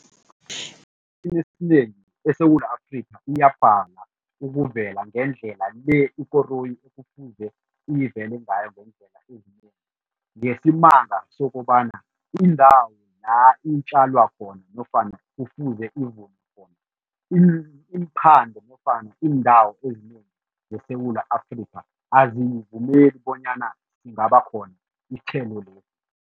Esikhathini esinengi eSewula Afrika kuyabhala ukuvela ngendlela le ikoroyi ekufuze ivele ngayo iyinengi ngesibanga sokobana indawo la itjalwa khona nofana kufuze khona, iimphande nofana iindawo ezinengi zeSewula Afrika azivumeli bonyana singabakhona isithelo lesi.